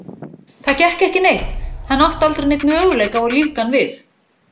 Það gekk ekki neitt, hann átti aldrei neinn möguleika á að lífga hann við.